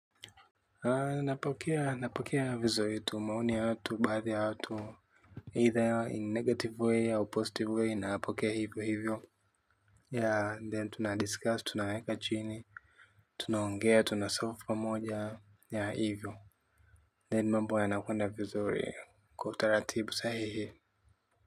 Napokea vizuri tu maoni ya watu baadhi ya watu either in negative way au positive way napokea hivyo hivyo jr then tunadiscuss tunaweka chini tunaongea tuna solve pamoja hivyo then mambo yanakwenda vizuri kwa utaratibu sahihi.